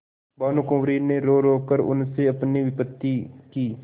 भानुकुँवरि ने रोरो कर उनसे अपनी विपत्ति की